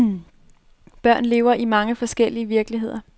Børn lever i mange forskellige virkeligheder.